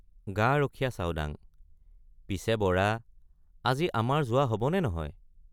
গাৰখীয়া চাওডাঙ—পিছে বৰা আজি আমাৰ যোৱা হবনে নহয়?